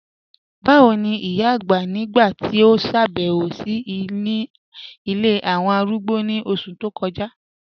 Bàwo ni ìyà àgbá nígbà tí o ṣábẹ̀wò sí ńí ilẹ̀ awọn arúgbó ni oṣù tó kọja?